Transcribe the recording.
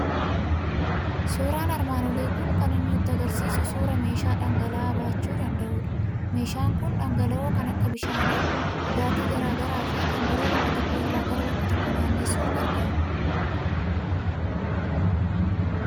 Suuraan armaan olii kan inni nutti argisiisu suuraa meeshaa dhangala'aa baachuu danda'udha. Meshaan kun dhangala'oo kan akka bishaanii, dhugaatii garaa garaa fi kan biroo bakka tokko irraa gara bakka tokko naanneessuuf gargaara.